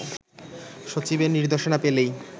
সচিবের নির্দেশনা পেলেই